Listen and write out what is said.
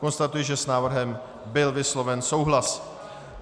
Konstatuji, že s návrhem byl vysloven souhlas.